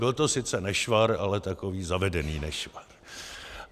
Byl to sice nešvar, ale takový zavedený nešvar.